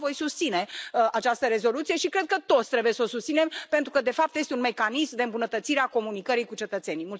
Da, voi susține această rezoluție și cred că toți trebuie să o susținem pentru că, de fapt, este un mecanism de îmbunătățire a comunicării cu cetățenii.